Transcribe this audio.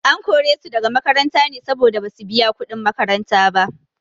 An kore su daga makaranta ne saboda basu biya kuɗin makaranta ba.